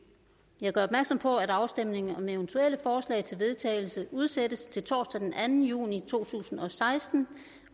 jeg gør opmærksom på at afstemning om eventuelle forslag til vedtagelse udsættes til torsdag den anden juni to tusind og seksten